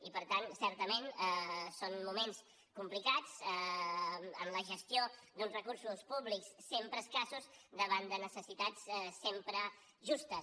i per tant certament són moments complicats en la gestió d’uns recursos públics sempre escassos davant de necessitats sempre justes